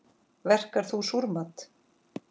Verkar þú súrmat?